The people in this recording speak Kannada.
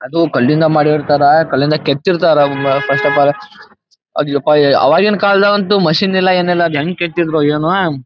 ಅದು ಕಲ್ಲಿನಿಂದ ಮಾಡಿರ್ತಾರಾ ಕಲ್ಲಿಂದ ಕೆತ್ತಿರತ್ತಾರ ಫಸ್ಟ್ ಆಫ್ ಆಲ್ ಅದ್ ಯಪ್ಪಾ ಅವಾಗಿನ ಕಾಲದಲ್ಲ ಅಂತೂ ಮಶೀನ್ ಇಲ್ಲ ಏನ್ ಇಲ್ಲ ಅದ್ಹೆಂಗ್ ಕೆತ್ತಿದ್ರೋ ಏನೋ.